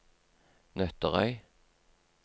Nøtterøy